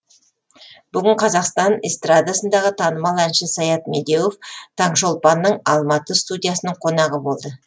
бүгін қазақ эстрадасындағы танымал әнші саят медеуов таңшолпанның алматы студиясының қонағы болды